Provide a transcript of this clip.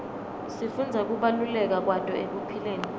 sifundza kubaluleka kwato ekuphileni